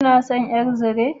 Kina son ƴar zire?